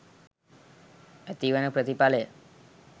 ඇතිවන ප්‍රතිඵලය